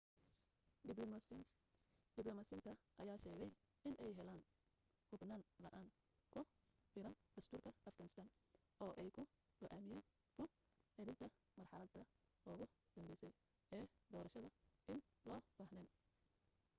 diblomaasiyiinta ayaa sheegay inay heleen hubniin la'aan ku filan dastuurka afghanistan oo ay ku go'aamiyaan ku celinta marxaladda ugu dambeysay ee doorashadda in loo baahneen